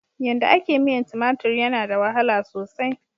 Yanda a ke miyan tumatur yana da wahala sosai.